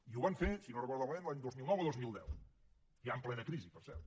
i ho van fer si no ho recordo malament l’any dos mil nou o dos mil deu ja en plena crisi per cert